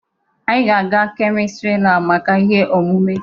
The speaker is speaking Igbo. Anyị ga-aga kemistrị laabụ maka ihe omume.